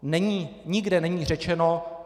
Nikde není řečeno: